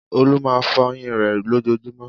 Olú máa fọyín rẹ̀ lójoojúmọ́.